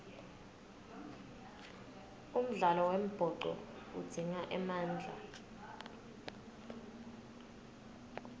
umdlalo wembhoco udzinga emandla